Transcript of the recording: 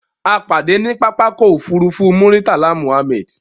A pàdé ní pápákọ̀ ofúrufú Muritala Mohammed